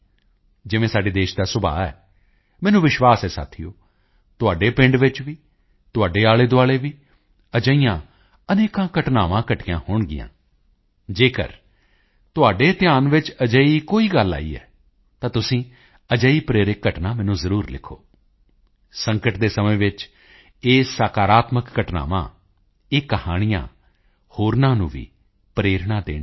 ਜਿਵੇਂ ਸਾਡੇ ਦੇਸ਼ ਦਾ ਸੁਭਾਅ ਹੈ ਮੈਨੂੰ ਵਿਸ਼ਵਾਸ ਹੈ ਸਾਥੀਓ ਤੁਹਾਡੇ ਪਿੰਡ ਵਿੱਚ ਵੀ ਤੁਹਾਡੇ ਆਲੇਦੁਆਲੇ ਵੀ ਅਜਿਹੀਆਂ ਅਨੇਕਾਂ ਘਟਨਾਵਾਂ ਘਟੀਆਂ ਹੋਣਗੀਆਂ ਜੇਕਰ ਤੁਹਾਡੇ ਧਿਆਨ ਵਿੱਚ ਅਜਿਹੀ ਕੋਈ ਗੱਲ ਆਈ ਹੈ ਤਾਂ ਤੁਸੀਂ ਅਜਿਹੀ ਪ੍ਰੇਰਕ ਘਟਨਾ ਮੈਨੂੰ ਜ਼ਰੂਰ ਲਿਖੋ ਸੰਕਟ ਦੇ ਸਮੇਂ ਵਿੱਚ ਇਹ ਸਕਾਰਾਤਮਕ ਘਟਨਾਵਾਂ ਇਹ ਕਹਾਣੀਆਂ ਹੋਰਾਂ ਨੂੰ ਵੀ ਪ੍ਰੇਰਣਾ ਦੇਣਗੀਆਂ